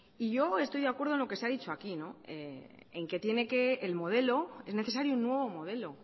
y yo estoy de acuerdo en lo que se ha dicho aquí en que tiene que el modelo es necesario un nuevo modelo